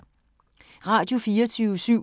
Radio24syv